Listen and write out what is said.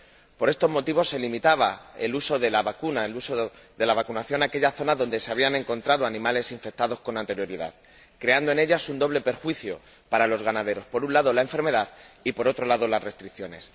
Por estos motivos se limitaba el uso de la vacuna, el uso de la vacunación, a aquellas zonas donde se habían encontrado animales infectados con anterioridad, creando en ellas un doble perjuicio para los ganaderos por un lado, la enfermedad y, por otro lado, las restricciones.